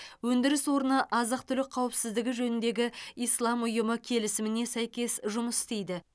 өндіріс орны азық түлік қауіпсіздігі жөніндегі ислам ұйымы келісіміне сәйкес жұмыс істейді